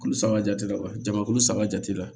Kulu saba jate la wa jamakulu saba jate la